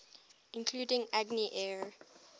including agni air